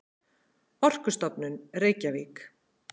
Orkustofnun, Reykjavík.